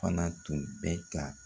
Fana tun bɛ ka